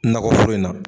Nakɔ foro in na